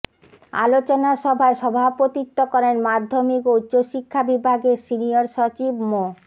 আলোচনা সভায় সভাপতিত্ব করেন মাধ্যমিক ও উচ্চশিক্ষা বিভাগের সিনিয়র সচিব মো